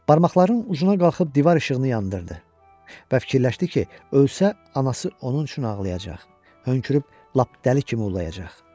Barmaqlarının ucuna qalxıb divar işığını yandırdı və fikirləşdi ki, ölsə anası onun üçün ağlayacaq, hönkürüb lap dəli kimi ulayacaq.